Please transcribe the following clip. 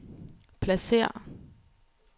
pladsér